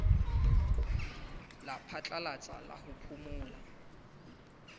la phatlalatsa la ho phomola